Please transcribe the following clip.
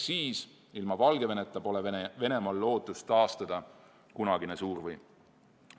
Siis, ilma Valgeveneta, pole Venemaal lootust taastada kunagine suurvõim.